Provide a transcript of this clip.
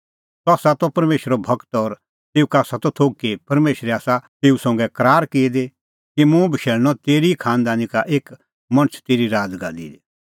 सह त परमेशरो गूर और तेऊ का आसा त थोघ कि परमेशरै आसा तेऊ संघा करार की दी कि मुंह बशैल़णअ तेरी ई खांनदानी का एक मणछ तेरी राज़गादी दी